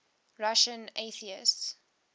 russian atheists